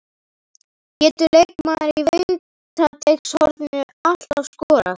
Getur leikmaður í vítateigshorninu alltaf skorað?